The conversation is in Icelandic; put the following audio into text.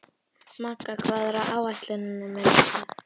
Magga, hvað er á áætluninni minni í dag?